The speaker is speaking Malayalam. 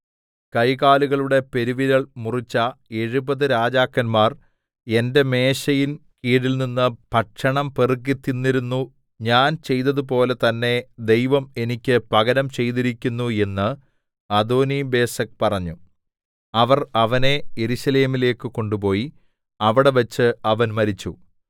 കൈകാലുകളുടെ പെരുവിരൽ മുറിച്ച എഴുപത് രാജാക്കന്മാർ എന്റെ മേശയിൻകീഴിൽനിന്ന് ഭക്ഷണം പെറുക്കിത്തിന്നിരുന്നു ഞാൻ ചെയ്തതുപോലെ തന്നേ ദൈവം എനിക്ക് പകരം ചെയ്തിരിക്കുന്നു എന്ന് അദോനിബേസെക്ക് പറഞ്ഞു അവർ അവനെ യെരൂശലേമിലേക്കു കൊണ്ടുപോയി അവിടെവെച്ച് അവൻ മരിച്ചു